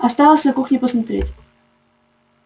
осталось на кухне посмотреть